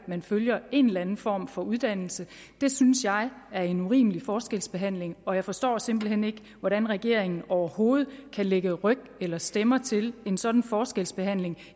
at man følger en eller anden form for uddannelse det synes jeg er en urimelig forskelsbehandling og jeg forstår simpelt hen ikke hvordan regeringen overhovedet kan lægge ryg eller stemmer til en sådan forskelsbehandling